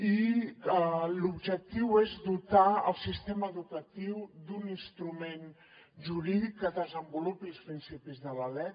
i l’objectiu és dotar el sistema educatiu d’un instrument jurídic que desenvolupi els principis de la lec